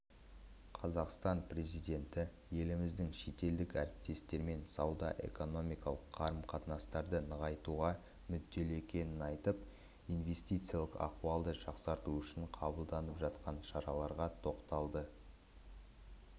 қазақстан президенті еліміздің шетелдік әріптестермен сауда-экономикалық қарым-қатынастарды нығайтуға мүдделі екенін айтып инвестициялық ахуалды жақсарту үшін қабылданып жатқан шараларға тоқталды